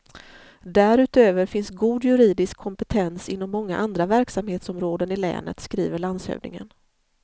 Därutöver finns god juridisk kompetens inom många andra verksamhetsområden i länet, skriver landshövdingen.